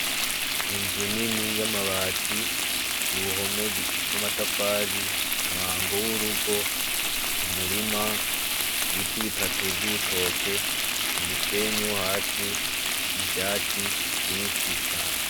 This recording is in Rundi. Inzu nini y'amabati, uruhome rw'amatafari, umwango w'urugo, umurima, ibiti bitatu vy'ibitoke, umusenyi wo hasi, ivyatsi vyinshi cane.